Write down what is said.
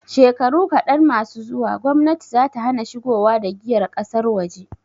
Shekaru kaɗan masu zuwa, gomnati zata hana shigowa da giyar ƙasar waje.